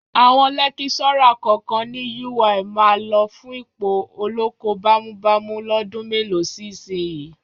Àwọn lẹ́kíṣọ́rà kọ̀ọ̀kan ni Yúwaì máa lọ fún ipò olóko bámúbamù lọ́dún mélòó si ìsinyìí.